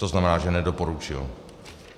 To znamená, že nedoporučil.